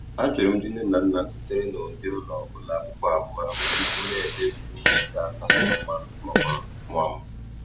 Ajụrụ m ndị nne na nna sitere na ụdị ụlọ ụlọ akwụkwọ abụọ ahụ tupu m ekpebi ihe ga-akasị mma maka nwa m.